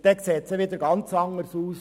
dann sieht es ganz anders aus.